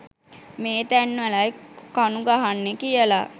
මේ තැන්වලයි කණු ගහන්නේ කියලා